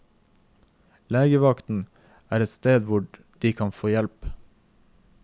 Legevakten er stedet hvor de kan få hjelp.